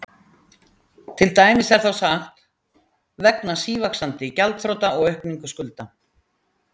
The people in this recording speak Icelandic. Til dæmis er þá sagt: vegna sívaxandi gjaldþrota og aukningu skulda.